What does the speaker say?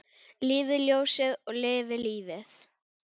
Lifi ljósið og lifi lífið!